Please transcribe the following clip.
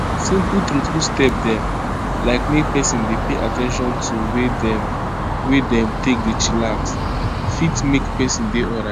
simple true true step dem like make peson dey pay at ten tion to way dem wey dem take dey chillax fit make peson dey alrite.